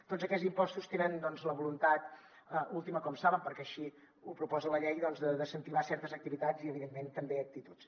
tots aquests impostos tenen doncs la voluntat última com saben perquè així ho proposa la llei doncs d’incentivar certes activitats i evidentment també actituds